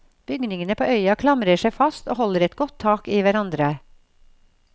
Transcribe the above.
Bygningene på øya klamrer seg fast og holder et godt tak i hverandre.